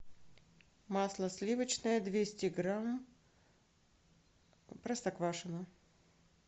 масло сливочное двести грамм простоквашино